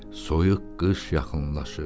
Soyuq qış yaxınlaşır.